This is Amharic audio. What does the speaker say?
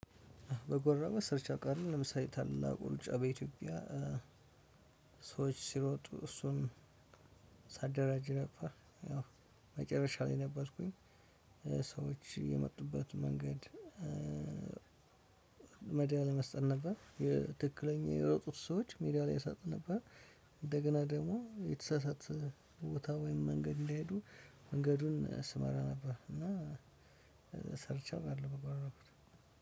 በጎራማ ሰርቼ አውቃለሁ ለምሳሌ ታላቁ ሩጫ በኢትዮጵያ ሰዎች ሲሮጡ እሱን ሳደራጅ ነበር ያው መጨረሻ ላይ ነበርኩኝ። ሰዎች የመጡበት መንገድ መዳሊያ ለመስጠት ነበር። ትክክለኛ የሮጡት ሰዎች ሜዳሊያ ላይ ይሳጡት ነበር። እንደገና ደግሞ የተሳሳት ቦታ ወይም መንገድ እንዳይሄዱ መንገዱን ስመራ ነበር እና ሰርቼ አውቃለሁ በጎ አድራጎት።